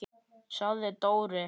sagði Dóri.